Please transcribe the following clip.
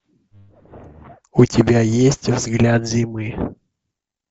у тебя есть взгляд зимы